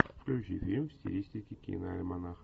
включи фильм в стилистике киноальманах